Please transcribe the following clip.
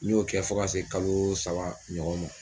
N y'o kɛ fo ka se kalo saba ɲɔgɔn ma.